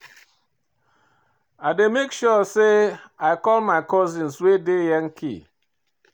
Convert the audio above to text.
I dey make sure sey I call my cousins wey dey Yankee.